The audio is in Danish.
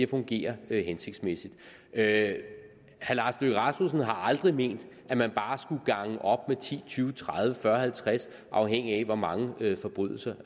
fungerer hensigtsmæssigt herre lars løkke rasmussen har aldrig ment at man bare skulle gange op med ti tyve tredive fyrre halvtreds afhængigt af hvor mange forbrydelser